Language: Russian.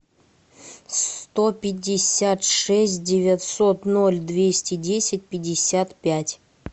сто пятьдесят шесть девятьсот ноль двести десять пятьдесят пять